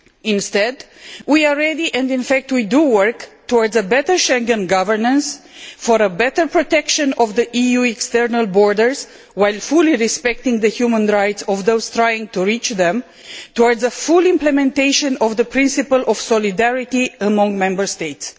Instead, we are ready and have already started working towards better Schengen governance for better protection of the EU external borders while fully respecting the human rights of those trying to reach them and towards full implementation of the principle of solidarity among Member States.